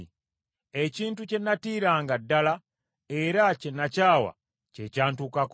Ekintu kye nantiiranga ddala era kye nakyawa kye kyantukako.